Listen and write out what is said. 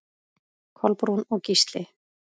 Kolbrún og Gísli.